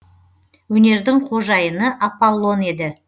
өнердің қожайыны аполлон еді